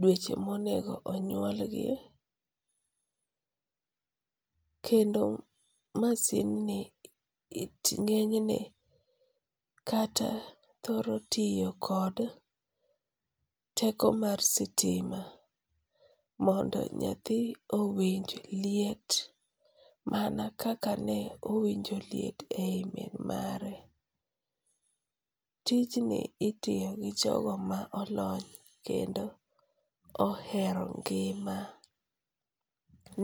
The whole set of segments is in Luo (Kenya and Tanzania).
dweche ma onego onyuolgi. Kendo masindni ng'enyne kata thoro tiyo kod teko mar sitima mondo nyathi owinj liet mana kaka ne owinjo liet e yi min mare. Tijni itiyo gi jogo ma olony kendo ohero ng'ima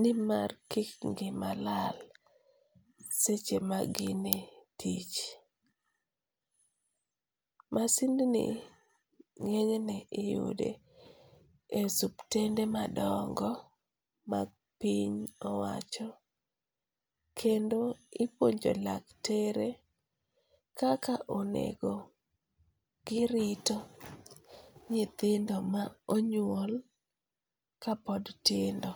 nimar kik ng'ima lal seche maginie tich. Masindni ng'enyne iyude e osiptende madongo mapiny owacho kendo ipuonjo laktere kaka onego girito nyithindo ma onyuol kapod tindo.